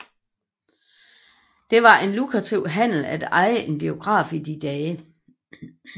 Det var en lukrativ handel at eje en biograf i de dage